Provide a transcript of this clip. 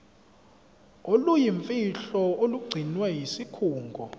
oluyimfihlo olugcinwe yisikhungo